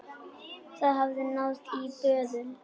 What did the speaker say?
Það hafði náðst í böðul.